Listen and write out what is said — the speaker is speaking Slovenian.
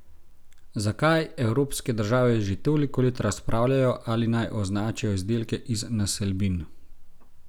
Zakaj evropske države že toliko let razpravljajo, ali naj označijo izdelke iz naselbin?